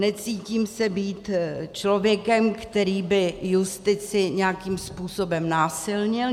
Necítím se být člověkem, který by justici nějakým způsobem násilnil.